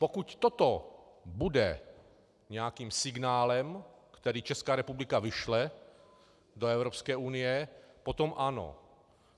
Pokud toto bude nějakým signálem, který Česká republika vyšle do Evropské unie, potom ano.